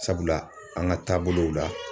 Sabula an ka taabolow la